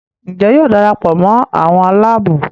Njé yóò darapọ̀ mọ àwọn Àlàabò?